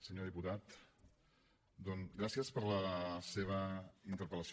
senyor diputat gràcies per la seva interpel·lació